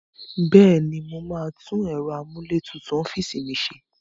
Bẹ́ẹ̀ ni, mo máa tún ẹ̀rọ amúlétutù ọ́fíìsì mi ṣe.